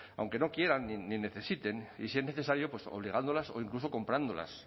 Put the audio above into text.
aunque no quieran ni necesiten y si es necesario pues obligándolas o incluso comprándolas